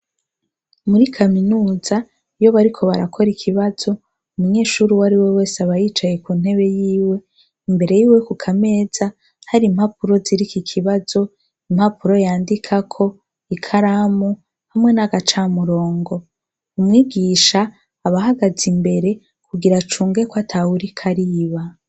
Muri kaminuza iyo bariko barakora ikibazo, umunyeshure uwariwe wese aba yicaye kuntebe yiwe imbere yiwe ku kameza hari impapuro ziriko ikibazo impapuro yandikako, ikaramu hamwe n'agaca murongo, umwigisha aba ahagaze imbere kugira acunge kwatawuriko ariba.